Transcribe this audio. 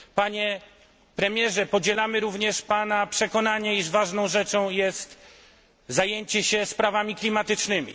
Panie premierze, podzielamy również pana przekonanie, iż ważną rzeczą jest zajęcie się sprawami klimatycznymi.